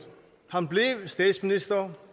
han blev statsminister